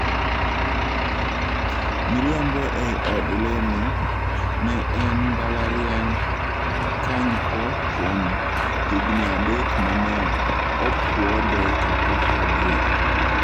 Miriambo ei od lemo, Ne en e mbalariany kanypo kuom higni adek ma ne opuodhe kaka padri.